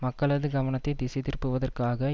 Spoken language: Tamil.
மக்களது கவனத்தை திசைதிருப்புவதற்காக